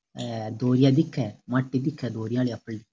ऐ धोरिया दिखे माटी दिखे धोरिया आली आपरली।